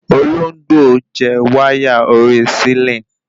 Olóńgbò jẹ wáyà orí sílìn